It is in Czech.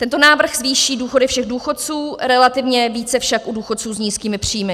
Tento návrh zvýší důchody všech důchodců, relativně více však u důchodců s nízkými příjmy.